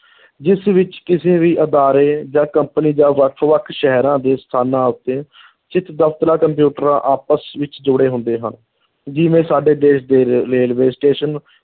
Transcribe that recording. ਜਿਸ ਵਿੱਚ ਕਿਸੇ ਵੀ ਅਦਾਰੇ ਜਾਂ company ਜਾਂ ਵੱਖ-ਵੱਖ ਸ਼ਹਿਰਾਂ ਦੇ ਸਥਾਨਾਂ ਉੱਤੇ ਸਥਿਤ ਦਫ਼ਤਰਾਂ ਕੰਪਿਊਟਰਾਂ ਆਪਸ ਵਿੱਚ ਜੁੜੇ ਹੁੰਦੇ ਹਨ, ਜਿਵੇਂ ਸਾਡੇ ਦੇਸ਼ ਦੇ ਰੇ railway station